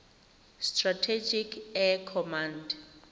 strategic air command